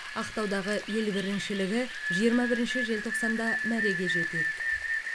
ақтаудағы ел біріншілігі жиырма бірінші желтоқсанда мәреге жетеді